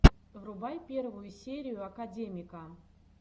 врубай первую серию академика